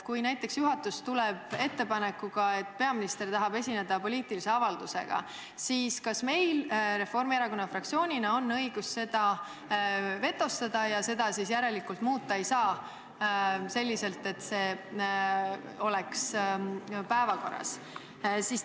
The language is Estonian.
Kui näiteks juhatus tuleb ettepanekuga, et peaminister tahab esineda poliitilise avaldusega, siis kas meil Reformierakonna fraktsioonina on õigus see ettepanek vetostada, misjärel ei saa teha enam sellist muudatust, et see punkti siiski oleks päevakorras?